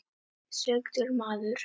Sigldur maður.